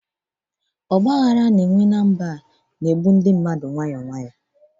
Ọgba aghara na mba a na-egbu ndị mmadụ nke nta nke nta